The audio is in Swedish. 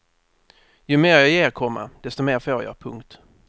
Ju mer jag ger, komma desto mer får jag. punkt